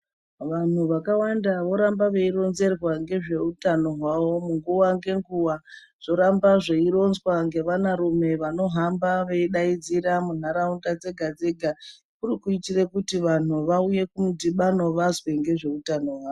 Vanhu vakawanda voramba veironzerwa nezvehutano hwavo nguwa ngenguwa zvoramba zveironzwa nevana rume vanohamba veidaidzira mundaraunda yega yega kuti kuda kuitira kuti vanhu vave nemudhibano vazwe nezvehutano hwavo.